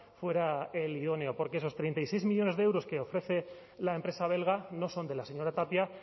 fuera el idóneo porque esos treinta y seis millónes de euros que ofrece la empresa belga no son de la señora tapia